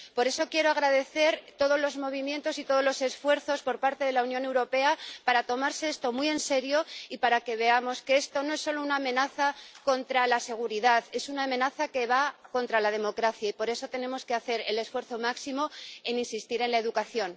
Por eso quiero agradecer todos los movimientos y todos los esfuerzos por parte de la Unión Europea para tomarse esto muy en serio y para que veamos que esto no es solo una amenaza contra la seguridad, es una amenaza contra la democracia, y por eso tenemos que hacer el esfuerzo máximo en insistir en la educación.